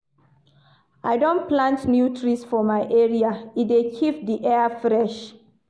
I don plant new trees for my area, e dey keep di air fresh.